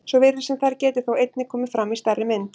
Svo virðist sem þær geti þó einnig komið fram í stærri mynd.